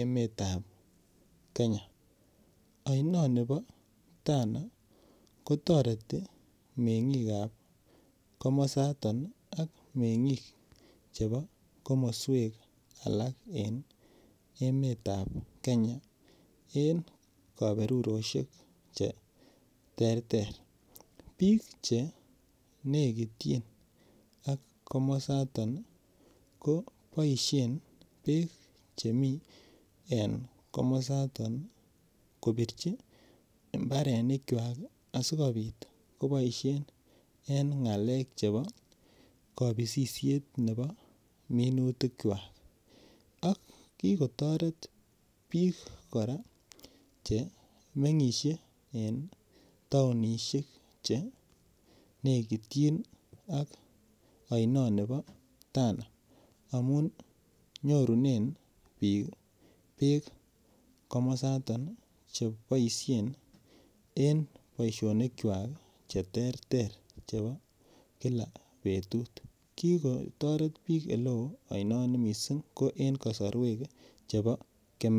emetab Kenya oinoni bo Tana kotoreti meng'ikab komosato ak meng'ik chebo komoswek alak en emetab kenya en kaberurosiek cheterter biik chenekityin ak komosaton koboisien beek chemii en komosaton kobirchi mbarenikwak asikobit koboisien en ng'alek chebo kabisisiet nebo minutikwak ak kikotoreti biik kora chemeng'isie en taonisiek ak chenekityin ak ainoni bo Tana amun nyorunen biik beek komosaton cheboisien en boisionikwak cheterter chebo kila betut kikotoret biik en eleo oinoni missing en kasarwek chebo kemeut.